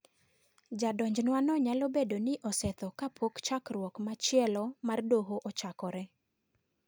Jadonjnwano nyalo bedo ni osetho kapok chokruok machielo mar doho ochokore.